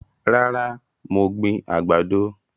Rárá, mo gbìn àgbàdo